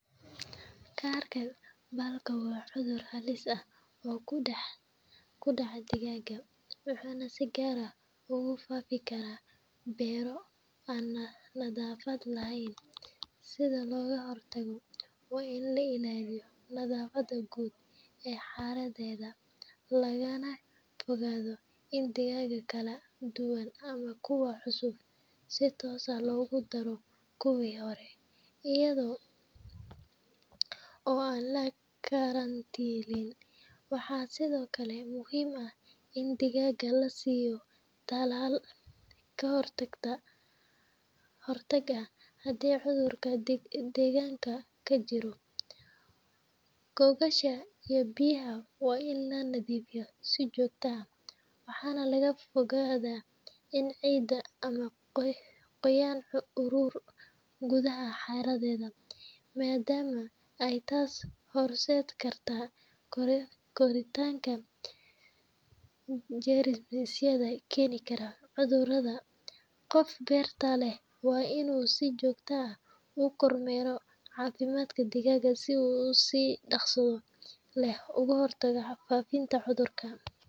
Kaarka baalka waa cudur halis ah oo ku dhaca digaagga, wuxuuna si gaar ah ugu faafi karaa beero aan nadaafad lahayn. Si looga hortago, waa in la ilaaliyo nadaafadda guud ee xareedda, lagana fogaado in digaag kala duwan ama kuwo cusub si toos ah loogu daro kuwii hore iyada oo aan la karantiilin. Waxaa sidoo kale muhiim ah in digaagga la siiyo talaal ka hortag ah haddii cudurka deegaanka ka jiro. Gogosha iyo biyaha waa in la nadiifiyaa si joogto ah, waxaana laga fogaadaa in ciid ama qoyaan ururo gudaha xareedda, maadaama ay taas horseedi karto koritaanka jeermisyo keeni kara cudurkan. Qofka beerta leh waa inuu si joogto ah u kormeeraa caafimaadka digaagga si uu si dhaqso leh uga hortago faafitaanka cudurka.